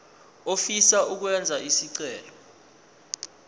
ofisa ukwenza isicelo